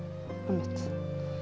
einmitt